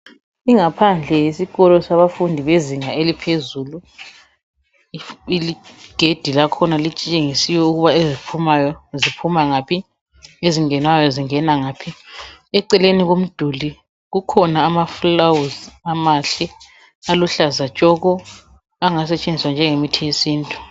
Ingaphandle yesikolo sabafundi bezinga eliphezulu igede lkhona litshengisiwe ukuba eziphumayo ziphuma ngaphi ezingenayo zingena ngaphi eceleni komduli kukhona amaluba amahle aluhlaza tshoko angasetshenziswa njengemithi yesintu